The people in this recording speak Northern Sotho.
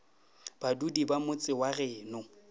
badudi ba motse wa geno